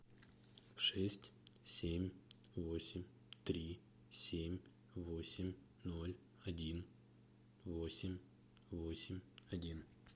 шесть семь восемь три семь восемь ноль один восемь восемь один